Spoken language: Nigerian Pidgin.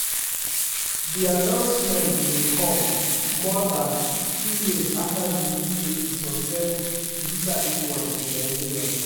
di announcement dey dey come more dan two years afta di uae suspend visa issuance to nigerians.